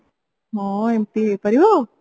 ହଁ ଏମିତି ହେଇପାରିବ